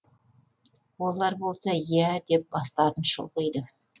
олар болса иә деп бастарын шұлғиды